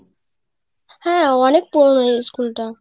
হ্যাঁ অনেক পুরানো school টা